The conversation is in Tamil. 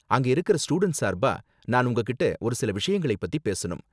அங்க இருக்குற ஸ்டூடண்ட்ஸ் சார்பா, நான் உங்ககிட்ட ஒரு சில விஷயங்களை பத்தி பேசணும்.